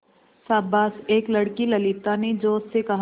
शाबाश एक लड़की ललिता ने जोश से कहा